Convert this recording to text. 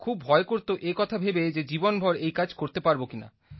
খুব ভয় করত এ কথা ভেবে যে জীবনভর এই কাজ করতে পারব কিনা